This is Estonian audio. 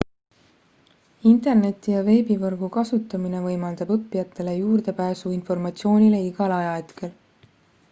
interneti ja veebivõrgu kasutamine võimaldab õppijatele juurdepääsu informatsioonile igal ajahetkel